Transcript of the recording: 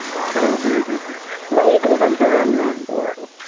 হ্যাঁ হ্যাঁ বা Agricultural land আহ ।